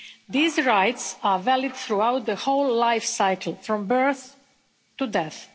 These rights are valid throughout the whole life cycle, from birth to death.